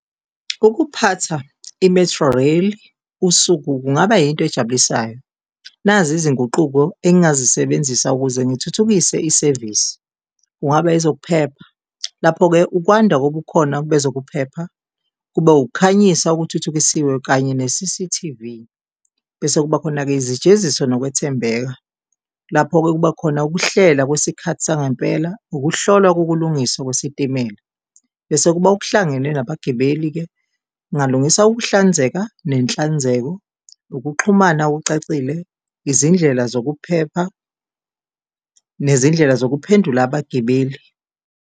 Ukuphatha i-Metrorail usuku kungaba yinto ejabulisayo, nazi izinguquko engingazisebenzisa ukuze ngithuthukise isevisi. Kungaba ezokuphepha, lapho-ke ukwanda kobukhona bezokuphepha, kube ukukhanyisa okuthuthukisiwe kanye ne-C_C_T_V. Bese kuba khona-ke izijeziso nokwethembeka, lapho-ke kuba khona ukuhlela kwesikhathi sangempela, ukuhlolwa kokulungiswa kwesitimela. Bese kuba okuhlangene nabagibeli-ke, kungalungiswa ukuhlanzeka nenhlanzeko, ukuxhumana okucacile, izindlela zokuphepha nezindlela zokuphendula abagibeli.